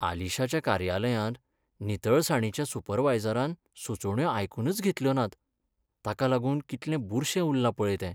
आशिलाच्या कार्यालयांत नितळसाणीच्या सुपरवायझरान सुचोवण्यो आयकूनच घेतल्यो नात. ताका लागून कितलें बुरशें उरलां पळय तें.